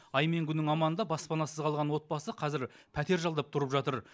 ай мен күннің аманында баспанасыз қалған отбасы қазір пәтер жалдап тұрып жатыр